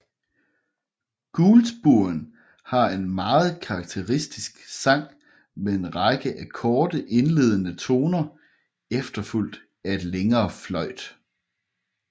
Gulspurven har en meget karakteristisk sang med en række af korte indledende toner efterfulgt af et længere fløjt